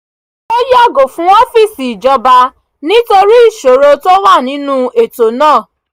ó yàgò fún ọ́fíìsì ìjọba nítorí ìṣòro tó wà nínú ètò náà